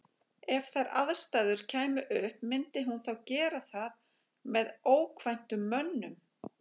EF þær aðstæður kæmu upp, myndi hún þá gera það með ókvæntum mönnum?